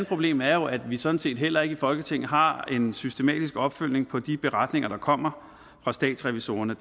problem er jo at vi sådan set heller ikke i folketinget har en systematisk opfølgning på de beretninger der kommer fra statsrevisorerne